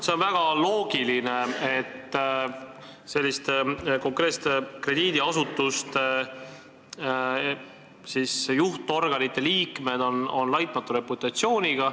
See on väga loogiline, et konkreetsete krediidiasutuste juhtorganite liikmed on laitmatu reputatsiooniga.